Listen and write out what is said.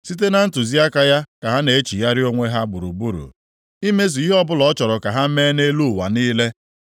Site na ntụziaka ya ka ha na-echigharị onwe ha gburugburu imezu ihe ọbụla ọ chọrọ ka ha mee nʼelu ụwa niile.